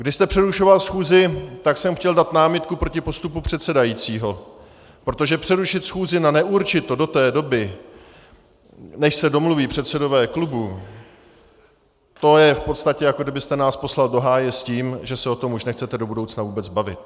Když jste přerušoval schůzi, tak jsem chtěl dát námitku proti postupu předsedajícího, protože přerušit schůzi na neurčito do té doby, než se domluví předsedové klubů, to je v podstatě, jako kdybyste nás poslal do háje s tím, že se o tom už nechcete do budoucna vůbec bavit.